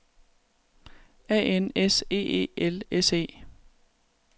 A N S E E L S E